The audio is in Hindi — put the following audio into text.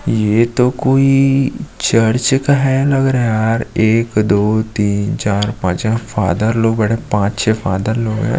ये तो कोई चर्च है लग रहा है यार एक दो तीन चार पांच फ़थर लोग बैठा है पांच छे फाथर लोग है।